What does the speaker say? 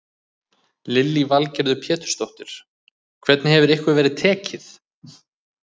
Lillý Valgerður Pétursdóttir: Hvernig hefur ykkur verið tekið?